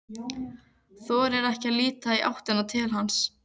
Þorir ekki að líta í áttina til hans.